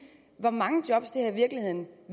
hvor mange job det her i virkeligheden